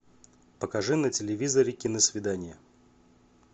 покажи на телевизоре киносвидание